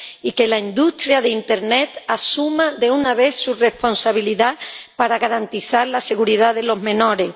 y que la industria de internet asuma de una vez su responsabilidad para garantizar la seguridad de los menores.